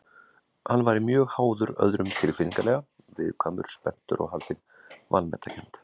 Hann væri mjög háður öðrum tilfinningalega, viðkvæmur, spenntur og haldinn vanmetakennd.